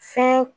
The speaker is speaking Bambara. Fin